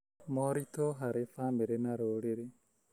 Moritũ harĩ bamĩrĩ na rũrĩrĩ: